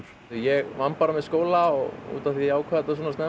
ég vann bara með skóla og af því ég ákvað þetta svona snemma